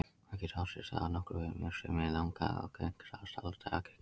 Það getur átt sér stað á nokkra vegu, en uppstreymi er langalgengasta ástæða skýjamyndunar.